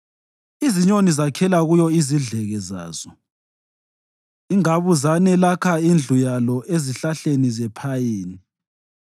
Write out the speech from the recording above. Izinyoni zakhela kuyo izidleke zazo; ingabuzane lakha indlu yalo ezihlahleni zephayini.